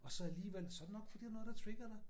Og så alligevel så det nok fordi der noget der trigger dig